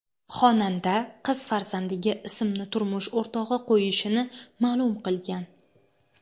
Xonanda qiz farzandiga ismni turmush o‘rtog‘i qo‘yishini ma’lum qilgan.